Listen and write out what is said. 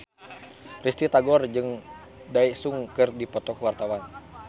Risty Tagor jeung Daesung keur dipoto ku wartawan